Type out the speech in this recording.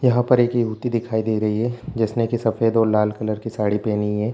यहाँ पर एक युवती दिखाई दे रही है जिसने के सफ़ेद और लाल कलर की साड़ी पेहनी है।